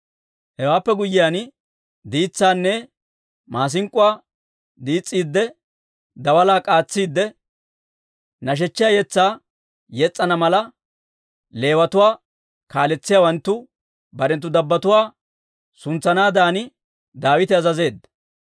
Hewaappe guyyiyaan, diitsaanne maasink'k'uwaa diis's'iidde, daalaa k'aatsiidde, nashechiyaa yetsaa yes's'ana mala, Leewatuwaa kaaletsiyaawanttu barenttu dabbotuwaa suntsanaadan Daawite azazeedda.